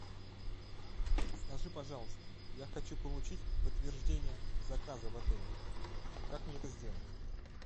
скажи пожалуйста я хочу получить подтверждение заказа в отеле как мне это сделать